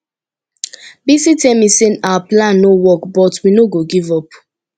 bisi tell me say our plan no work but we no go give up